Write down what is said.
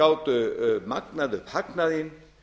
gátu magnað upp hagnaðinn